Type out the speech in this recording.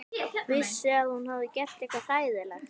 Vissi að hún hafði gert eitthvað hræðilegt.